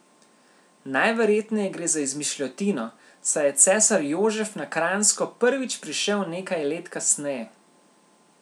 Najverjetneje gre za izmišljotino, saj je cesar Jožef na Kranjsko prvič prišel nekaj let kasneje.